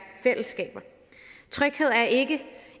fællesskaber tryghed er ikke